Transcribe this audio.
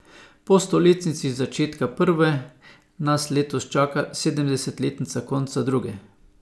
Po stoletnici začetka prve nas letos čaka sedemdesetletnica konca druge.